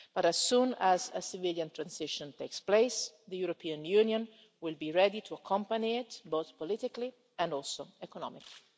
But as soon as a civilian transition takes place, the European Union will be ready to accompany it, both politically and also economically.